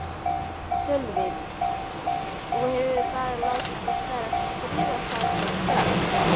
Sölvi: Þú hefur bara látið til skarar skríða þarna strax?